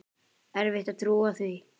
Erfitt að trúa því.